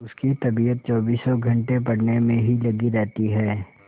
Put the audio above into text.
उसकी तबीयत चौबीसों घंटे पढ़ने में ही लगी रहती है